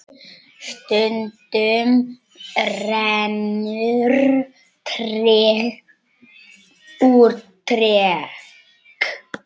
Stundum rennur tregt úr trekt.